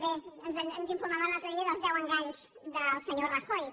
bé ens informaven l’altre dia dels deu enganys del senyor rajoy